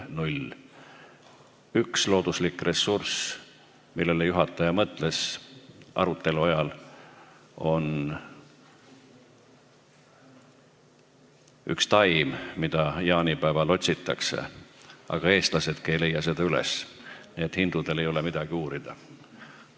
Üks Eesti looduslik ressurss, millele juhataja arutelu ajal mõtles, on üks taim, mida jaanipäeval otsitakse, aga eestlased pole seda üles leidnud, nii et hindudel ei ole midagi uurida.